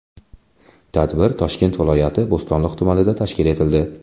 Tadbir Toshkent viloyati, Bo‘stonliq tumanida tashkil etildi.